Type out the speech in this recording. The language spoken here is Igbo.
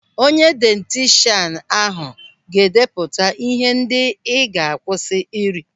Onye dayetishan ahụ ga-edeputa ihe ndị ị ga-akwụsị ịri.